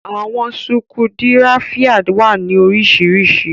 Àwọn sukudiráífa wa ni oríṣiríṣí.